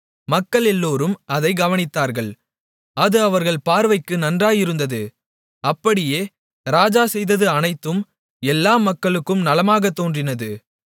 மக்கள் எல்லோரும் அதைக் கவனித்தார்கள் அது அவர்கள் பார்வைக்கு நன்றாயிருந்தது அப்படியே ராஜா செய்தது அனைத்தும் எல்லா மக்களுக்கும் நலமாகத் தோன்றினது